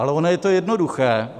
Ale ono je to jednoduché.